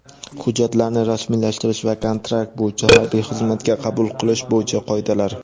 hujjatlarini rasmiylashtirish va kontrakt bo‘yicha harbiy xizmatga qabul qilish bo‘yicha qoidalar.